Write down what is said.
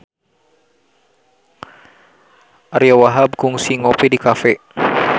Ariyo Wahab kungsi ngopi di cafe